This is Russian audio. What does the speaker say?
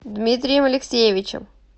дмитрием алексеевичем